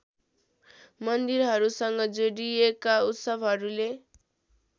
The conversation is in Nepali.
मन्दिरहरूसँग जोडिएका उत्सवहरूले